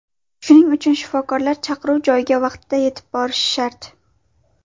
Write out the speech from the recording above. Shuning uchun shifokorlar chaqiruv joyiga vaqtida yetib borishi shart.